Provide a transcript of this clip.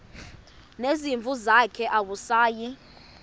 nezimvu zakhe awusayi